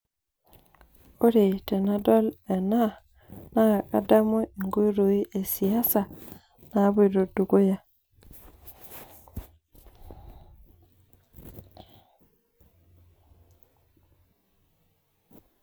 ore tenadol ena naa kadamu inkoitoi esiasa naapoto dukuya,